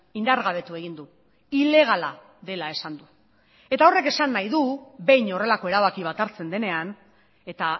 indargabetu egin du ilegala dela esan du eta horrek esan nahi du behin horrelako erabaki bat hartzen denean eta